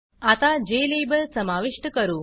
आता Jlabelजेलेबल समाविष्ट करू